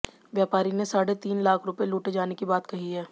व्यापारी ने साढ़े तीन लाख रूपये लूटे जाने की बात कही है